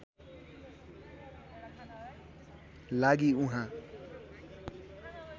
लागि उहाँ